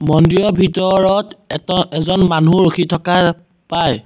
মন্দিৰৰ ভিতৰত এটা এজন মানুহ ৰখি থকা পায়।